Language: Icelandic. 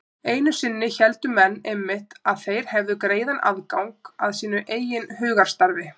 Einu sinni héldu menn einmitt að þeir hefðu greiðan aðgang að sínu eigin hugarstarfi.